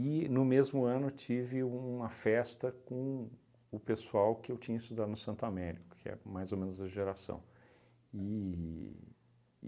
no mesmo ano, tive uma festa com o pessoal que eu tinha estudado no Santo Américo, que é mais ou menos a geração. E